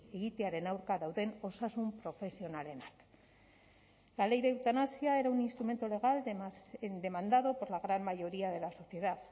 egitearen aurka dauden osasun profesionalenak la ley de eutanasia era un instrumento legal demandado por la gran mayoría de la sociedad